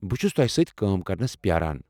بہ چھس تۄہہ سۭتۍ کٲم کرنس پیٛاران۔